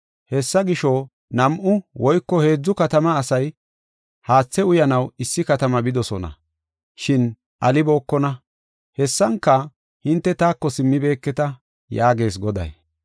Hessa gisho, nam7u woyko heedzu katama asay haathe uyanaw issi katama bidosona; shin alibookona. Hessanka hinte taako simmibeketa” yaagees Goday.